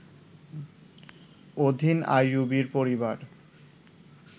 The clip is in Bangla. অধীন আইয়ুবীয় পরিবার